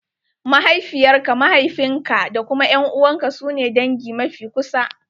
Mahaifiyar ka, mahaifin ka da kuma ƴan`uwan ka su ne dangin ka mafi kusa.